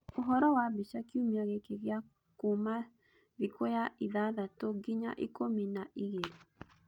ũhoro wa mbica kiumĩa gĩkĩ gĩa kuuma thĩkũya ithathatũnginya ikũmi na igĩrĩ.